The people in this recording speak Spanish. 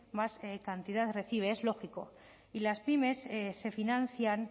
más cantidad recibe es lógico y las pymes se financian